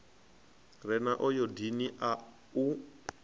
re na ayodini a u